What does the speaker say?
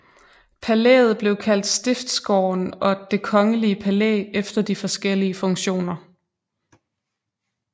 Palæet blev kaldt Stiftsgården og Det kongelige palæ efter de forskelige funktioner